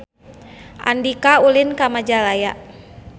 Andika ulin ka Majalaya